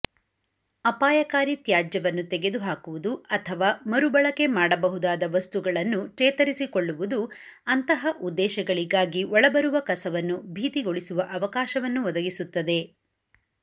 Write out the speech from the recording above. ಅಪಾಯಕಾರಿ ತ್ಯಾಜ್ಯವನ್ನು ತೆಗೆದುಹಾಕುವುದು ಅಥವಾ ಮರುಬಳಕೆ ಮಾಡಬಹುದಾದ ವಸ್ತುಗಳನ್ನು ಚೇತರಿಸಿಕೊಳ್ಳುವುದು ಅಂತಹ ಉದ್ದೇಶಗಳಿಗಾಗಿ ಒಳಬರುವ ಕಸವನ್ನು ಭೀತಿಗೊಳಿಸುವ ಅವಕಾಶವನ್ನು ಒದಗಿಸುತ್ತದೆ